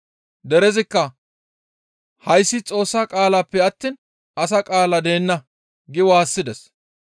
Derezikka, «Hayssi Xoossa qaalappe attiin asa qaala deenna!» gi waassides.